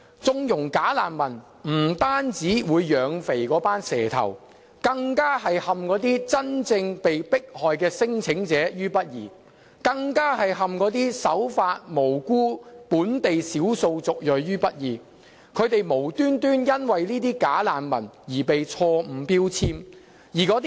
縱容"假難民"不單會養肥"蛇頭"，並會陷那些真正被迫害的聲請者於不義，更會陷那些守法及無辜的本地少數族裔於不義，令他們無緣無故因這些"假難民"而被錯誤標籤。